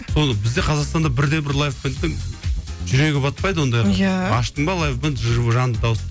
бізде қазақстанда бір де бір лайв бэндтің жүрегі батпайды ондайға иә аштың ба лайв бэнд жанды дауыс